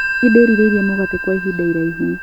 Nĩndĩrĩirie mũgate kwa ihinda iraihu